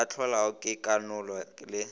ka hlolwago ke konalo le